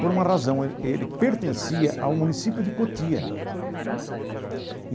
Por uma razão, ele pertencia ao município de Cotia.